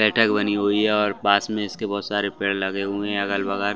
बैठक बनी हुई है और पास में इसके बहुत सारे पेड़ लगे हुए हैं अगल-बगल--